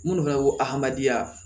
Minnu fana ko adamadenya